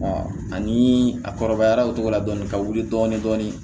ani a kɔrɔbayara o cogo la dɔɔnin ka wuli dɔɔnin dɔɔnin